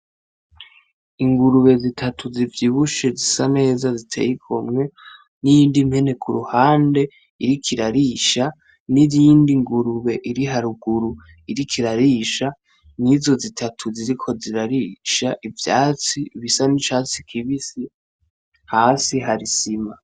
Ingurube zitatu zivyibushe zisa neza ziteyi igomwe, n'iyindi mpene kuruhande iriko irarisha n'iyindi ngurube iri haruguru iriko irarisha nizo zitatu ziriko zirarisha ivyatsi bisa nk'icatsi kibisi, hasi hari isima.